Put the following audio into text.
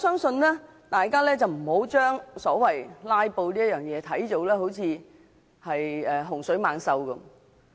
所以，大家不應該把"拉布"看成甚麼洪水猛獸。